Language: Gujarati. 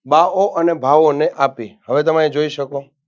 બાહો અને અને ભાવોને આપી હવે તમે અહીં જોઈ શકો.